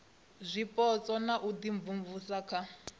zwipotso na u imvumvusa kha